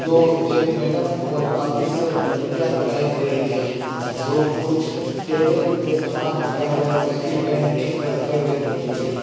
दो एक मैडम और बाकी सब लड़कियां दिखाई दे रही है जो कुछ टेबल पर सामान रखा हुआ है उसकी पेंटिंग करते हुए दिख रही --